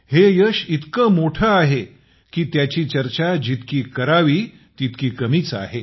हे यश इतकं मोठं आहे की त्याची चर्चा जितकी केली तर ती कमीच आहे